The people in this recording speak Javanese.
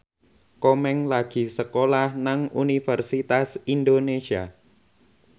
Komeng lagi sekolah nang Universitas Indonesia